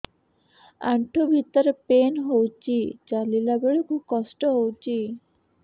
ଆଣ୍ଠୁ ଭିତରେ ପେନ୍ ହଉଚି ଚାଲିଲା ବେଳକୁ କଷ୍ଟ ହଉଚି